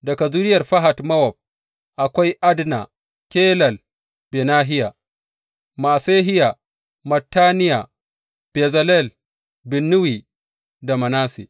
Daga zuriyar Fahat Mowab, akwai Adna, Kelal, Benahiya, Ma’asehiya, Mattaniya, Bezalel, Binnuyi, da Manasse.